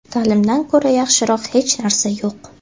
Ta’limdan ko‘ra yaxshiroq hech narsa yo‘q.